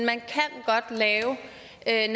at